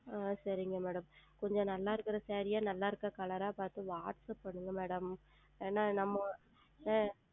ஆஹ் சரிங்கள் Madam கொஞ்சம் நன்றாக இருக்கிற Saree ஆ நன்றாக இருக்கிற Color ஆ பார்த்து Whatsapp செய்யுங்கள் Madam ஏனால் நம்ம